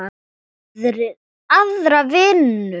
Aðra vinnu?